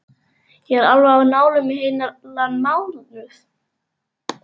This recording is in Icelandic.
Ég var alveg á nálum í heilan mánuð.